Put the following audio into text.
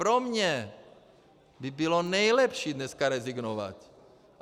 Pro mě by bylo nejlepší dneska rezignovat.